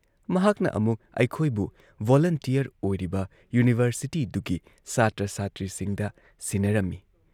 ꯃꯍꯥꯛꯅ ꯑꯃꯨꯛ ꯑꯩꯈꯣꯏꯕꯨ ꯚꯣꯂꯨꯟꯇꯤꯌꯔ ꯑꯣꯏꯔꯤꯕ ꯌꯨꯅꯤꯚꯔꯁꯤꯇꯤꯗꯨꯒꯤ ꯁꯥꯇ꯭ꯔ ꯁꯥꯇ꯭ꯔꯤꯁꯤꯡꯗ ꯁꯤꯟꯅꯔꯝꯏ ꯫